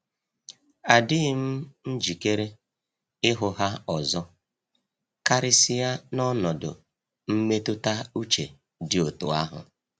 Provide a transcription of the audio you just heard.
Adịghị m njikere ịhụ ha ọzọ, karịsịa n'ọnọdụ mmetụta uche dị otú ahụ.